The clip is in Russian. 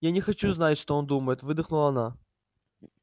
я не хочу знать что он думает выдохнула она